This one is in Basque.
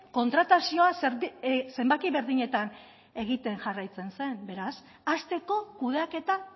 kontratazioa zenbaki berdinetan egiten jarraitzen zen beraz hasteko kudeaketa